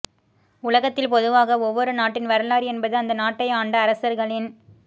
உலகத்தில் பொதுவாக ஒவ்வொரு நாட்டின் வரலாறு என்பது அந்த நாட்டை ஆண்ட அரசர்களின்